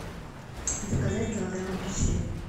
заказать килограмм апельсин